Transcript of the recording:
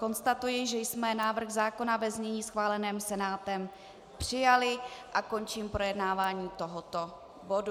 Konstatuji, že jsme návrh zákona ve znění schváleném Senátem přijali, a končím projednávání tohoto bodu.